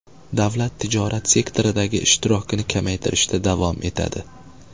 Davlat tijorat sektoridagi ishtirokini kamaytirishda davom etadi.